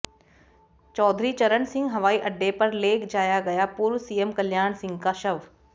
चौधरी चरण सिंह हवाई अड्डे पर ले जाया गया पूर्व सीएम कल्याण सिंह का शव